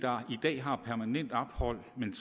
der i dag har permanent ophold men